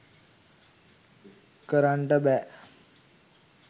කරන්නට බෑ.